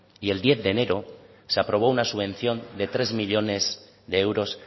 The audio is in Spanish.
y el diez de enero se aprobó una subvención de tres millónes de euros